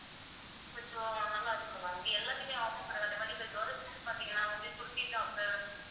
கொஞ்சம் நல்லா இருக்கும் எல்லாத்தையுமே offer போட்டுருக்காங்க அதே மாதிரி இப்ப girls க்கு வந்து பாத்தீங்கன்னா kurti top உ top